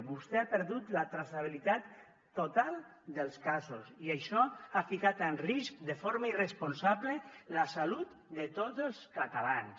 vostè ha perdut la traçabilitat total dels casos i això ha ficat en risc de forma irresponsable la salut de tots els catalans